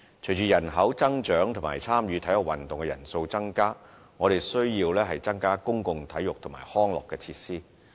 隨着人口增長和參與體育運動的人數增加，我們需要增加公共體育及康樂設施。